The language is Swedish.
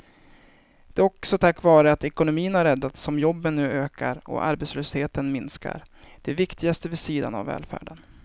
Det är också tack vare att ekonomin har räddats som jobben nu ökar och arbetslösheten minskar, det viktigaste vid sidan av välfärden.